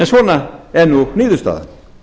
svona er niðurstaðan